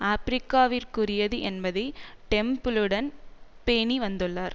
ஆபிரிக்காவிற்குரியது என்பதை டெம்பிளுடன் பேணி வந்துள்ளார்